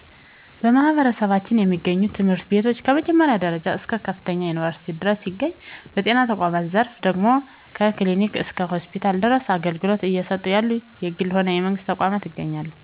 በማህበረሰባችን የሚገኙ ትምህርት ቤቶች ከመጀመሪያ ደረጃ እስከ ከፍተኛ ዩኒቨርስቲ ድረስ ሲገኝ፤ በጤና ተቋማት ዘርፍ ደግሞ ከ ክሊኒክ እስከ ሆስፒታል ድረስ አገልግሎት እየሰጡ ያሉ የግልም ሆነ የመንግስት ተቋማት ይገኛሉ።